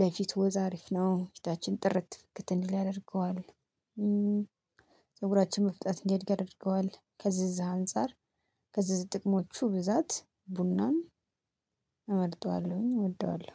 ለፊት ወዝ አሪፍ ነው ፊታችን ጥርት ፍክት እንዲል ያደርገዋል። ፀጉራችን መፍጥነት እንዲያድግ ያደርገዋል ከዚህ ከዚህ አንፃር ከዚህ ጥቅሞቹ ብዛት ቡናን እመርጠዋለሁኝ እወደዋለሁ